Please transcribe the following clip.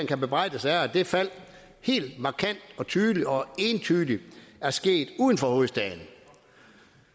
kan bebrejdes er at det fald helt markant og tydeligt og entydigt er sket uden for hovedstaden